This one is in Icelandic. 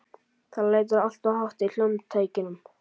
Það lætur alltof hátt í hljómtækjunum.